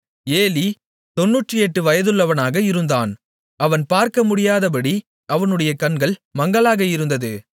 Eli 98 வயதுள்ளவனாக இருந்தான் அவன் பார்க்க முடியாதபடி அவனுடைய கண்கள் மங்கலாக இருந்தது